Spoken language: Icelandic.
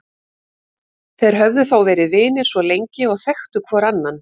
Þeir höfðu þó verið vinir svo lengi og þekktu hvor annan.